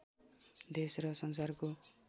देश र संसारको